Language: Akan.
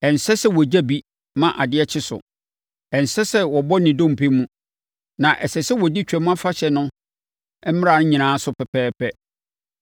Ɛnsɛ sɛ wɔgya bi ma adeɛ kye so. Ɛnsɛ sɛ wɔbɔ ne dompe mu. Na ɛsɛ sɛ wɔdi Twam Afahyɛ no mmara no nyinaa so pɛpɛɛpɛ.